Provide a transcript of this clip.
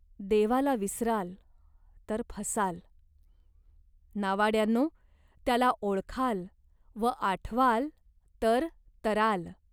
देवाला विसराल, तर फसाल. नावाड्यांनो त्याला ओळखाल व आठवाल तर तराल.